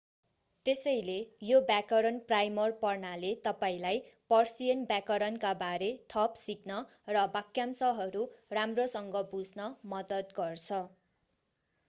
त्यसैले यो व्याकरण प्राइमर पढ्नाले तपाईंलाई पर्सियन व्याकरणका बारे थप सिक्न र वाक्यांशहरू राम्रोसँग बुझ्न मद्दत गर्छ